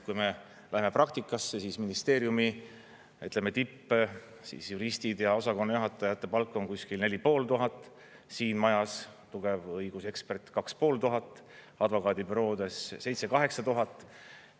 Kui me läheme praktikasse, siis ministeeriumi tippjuristide ja osakonnajuhatajate palk on kuskil 4500, siin majas tugev õigusekspert 2500, advokaadibüroodes 7000–8000.